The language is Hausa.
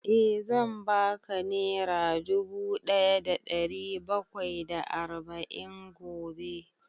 Eh, zan ba ka nera dubu ɗaya da ɗari bakwai da arba'in gobe